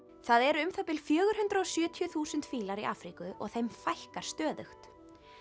það eru um það bil fjögur hundruð og sjötíu þúsund fílar í Afríku og þeim fækkar stöðugt